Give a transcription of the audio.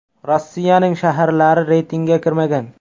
Rossiyaning shaharlari reytingga kirmagan.